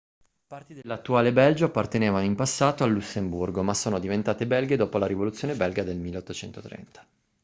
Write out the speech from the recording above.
parti dell'attuale belgio appartenevano in passato al lussemburgo ma sono diventate belghe dopo la rivoluzione belga del 1830